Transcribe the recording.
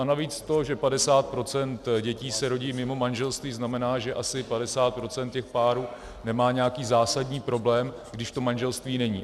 A navíc to, že 50 % dětí se rodí mimo manželství, znamená, že asi 50 % těch párů nemá nějaký zásadní problém, když to manželství není.